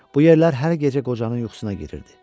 Bu yerlər hər gecə qocanın yuxusuna girirdi.